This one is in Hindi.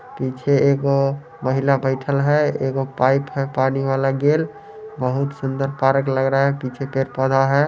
पीछे एगो महिला बैठल है एगो पाइप है पानी वाला गेल बहुत सुन्दर पार्क लग ला है पीछे पेड़-पौधा है।